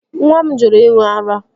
Nwa m jụrụ ịṅụ ara